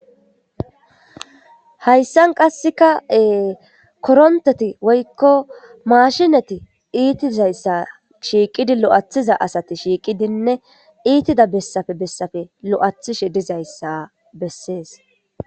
hayssan qassekae koronteti woykko maashinati iitizayssa shiiqidi lo7athiza asati shiiqidinne iitida bessafe bessafe lo7athishe dizayssa bessees